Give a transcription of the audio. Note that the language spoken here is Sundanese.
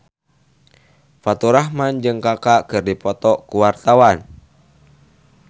Faturrahman jeung Kaka keur dipoto ku wartawan